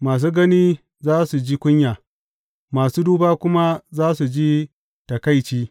Masu gani za su ji kunya, masu duba kuma za su ji taƙaici.